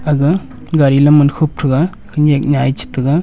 aga gari lam man khup thega khenyak nyah e chetega.